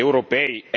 europei.